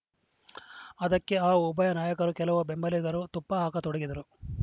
ಅದಕ್ಕೆ ಆ ಉಭಯ ನಾಯಕರು ಕೆಲವು ಬೆಂಬಲಿಗರೂ ತುಪ್ಪ ಹಾಕತೊಡಗಿದರು